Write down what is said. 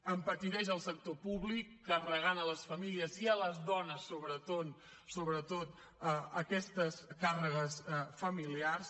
empetiteix el sector públic carregant a les famílies i a les dones sobretot aquestes càrregues familiars